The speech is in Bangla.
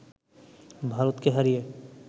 ভারতকে হারিয়ে